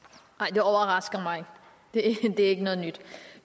det overrasker mig ikke det er ikke noget nyt